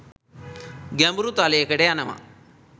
ගැඹුරු තලයකට යනවා.